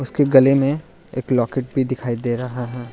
के गले में एक लॉकेट भी दिखाई दे रहा है।